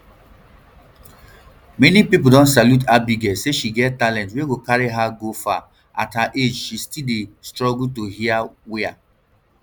many pipo don salute abigail say she get talent wia go carry her go far at her age she still dey struggle to hear wia